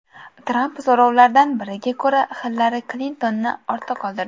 Tramp so‘rovlardan biriga ko‘ra Hillari Klintonni ortda qoldirdi.